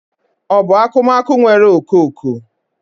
Ọ bụ akụmakụ nwere okooko?